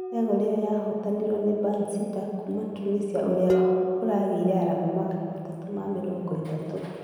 kategore ĩno yahotanirwo ni bansida kuuma Tunisia ũria ũrageire arama magana matatũ ma mĩrongo ĩtatũ